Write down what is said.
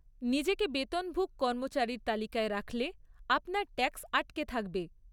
নিজেকে বেতনভুক কর্মচারীর তালিকায় রাখলে আপনার ট্যাক্স আটকে থাকবে।